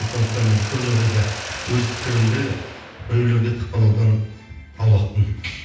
сондықтан мен көп жағдайда өз пікірімді біреулерге тықпалаудан аулақпын